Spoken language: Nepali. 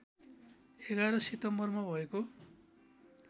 ११ सितम्बरमा भएको